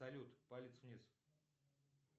салют палец вниз